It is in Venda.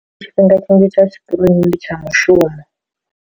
Tsha tshi kirini ndi tsha mushumo.